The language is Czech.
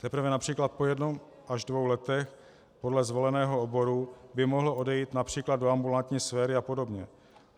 Teprve například po jednom až dvou letech podle zvoleného oboru by mohl odejít například do ambulantní sféry a podobně.